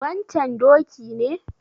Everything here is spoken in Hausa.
wancan doki ne?